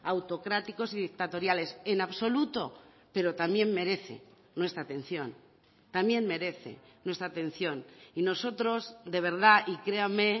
autocráticos y dictatoriales en absoluto pero también merece nuestra atención también merece nuestra atención y nosotros de verdad y créame